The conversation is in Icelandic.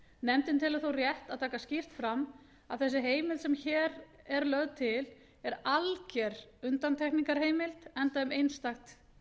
nefndin telur þó rétt að taka skýrt fram að þessi heimild sem hér er lögð til er alger undantekningarheimild enda um einstakt